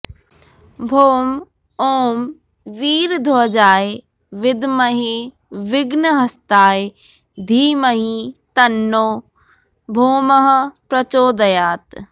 भौम ॐ वीरध्वजाय विद्महे विघ्नहस्ताय धीमहि तन्नो भौमः प्रचोदयात्